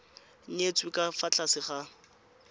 nyetswe ka fa tlase ga